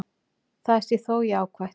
Það sé þó jákvætt.